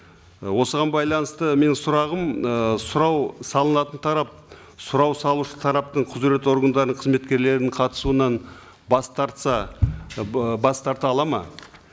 ы осыған байланысты менің сұрағым ы сұрау салынатын тарап сұрау салушы тараптың құзыретті органдарының қызметкерлерінің қатысуынан бас тартса ы бас тарта алады ма